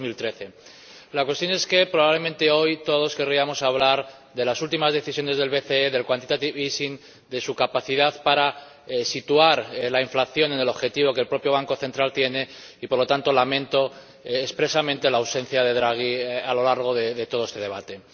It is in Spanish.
2013. La cuestión es que, probablemente, hoy todos querríamos hablar de las últimas decisiones del BCE, del quantitative easing de su capacidad para situar la inflación en el objetivo que el propio Banco Central tiene y, por lo tanto, lamento expresamente la ausencia de Draghi a lo largo de todo este debate.